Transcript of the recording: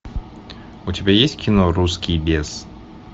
у тебя есть кино русский бес